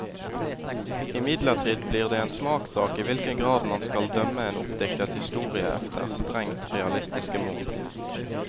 Imidlertid blir det en smakssak i hvilken grad man skal dømme en oppdiktet historie efter strengt realistiske mål.